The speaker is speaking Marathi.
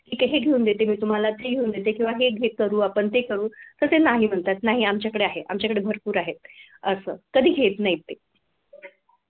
ठीके. हे घेऊन देते मी तुम्हाला ते घेऊन देते. हे करू आपण. ते करू. तर ते नाही म्हणतात. नाही आमच्याकडे आहे. आमच्याकडे भरपूर आहे असं. कधी घेत नाहीत ते